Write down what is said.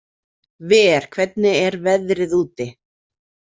Ver, hvernig er veðrið úti?